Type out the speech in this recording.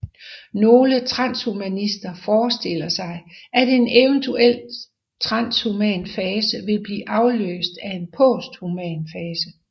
Nogle transhumanister forestiller sig at en eventuel transhuman fase vil blive afløst af en posthuman fase